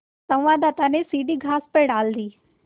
संवाददाता ने सीढ़ी घास पर डाल दी